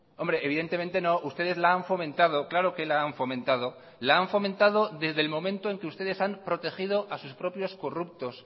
hombre evidentemente no ustedes la han fomentado claro que la han fomentado la han fomentado desde el momento en que ustedes han protegido a sus propios corruptos